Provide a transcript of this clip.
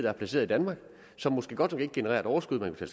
er placeret i danmark som måske godt nok ikke genererer et overskud der kan